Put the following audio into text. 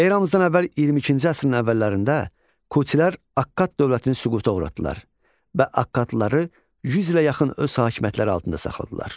Eramızdan əvvəl 22-ci əsrin əvvəllərində Kutilər Akkad dövlətini süquta uğratdılar və Akkadlıları 100 ilə yaxın öz hakimiyyətləri altında saxladılar.